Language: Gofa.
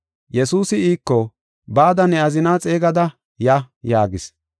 Yesuusi iiko, “Bada ne azinaa xeegada ya” yaagis.